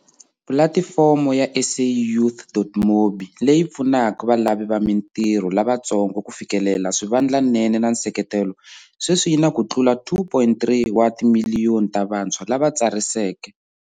Pulatifomo ya SAYouth.mobi, leyi pfunaka valavi va mitirho lavatsongo ku fikelela swivandlanene na nseketelo, sweswi yi na ku tlula 2.3 wa timiliyoni ta vantshwa lava tsariseke.